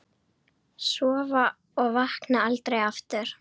Sofna og vakna aldrei aftur.